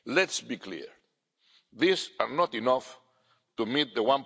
Let's be clear, these are not enough to meet